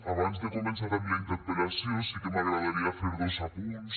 abans de començar amb la interpellació sí que m’agradaria fer dos apunts